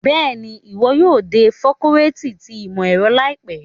Bẹ́ẹ̀ni, iwọ yóò de facọluti ti imọ-ẹrọ laipe